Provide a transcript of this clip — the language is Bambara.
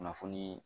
Kunnafoniii